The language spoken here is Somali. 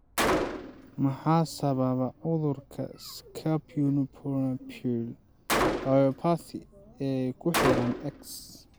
Maxaa sababa cudurka 'scapupoperoneal myopathy' ee ku xiran X?